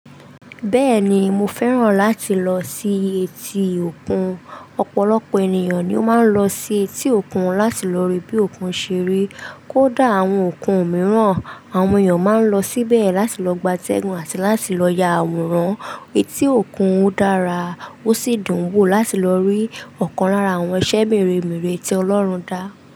Bẹ́ẹ̀ni mo fẹ́ràn láti lọ sí etí òkun. Ọ̀pọ̀lọpọ̀ ènìyàn ni ó máa ń lọ sí etí òkun láti lọ rí bí òkun ṣe rí. Kódà àwọn òkun mìíràn, àwọn èèyàn máa ń lọ síbẹ̀ láti lọ gbátẹ́gùn àti láti lọ ya àwòrán. Etí òkun dára, ó sì dùn wò láti lọ rí ọ̀kan lára àwọn iṣẹ́ mèremère tí Ọlọ́run dá.